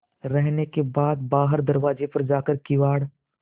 रहने के बाद बाहर दरवाजे पर जाकर किवाड़